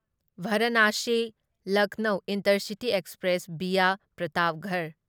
Varanasi Lucknow intercity express via Pratapgarh